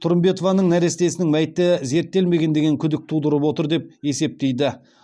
тұрымбетованың нәрестесінің мәйіті зерттелмеген деген күдік тудырып отыр деп есептейді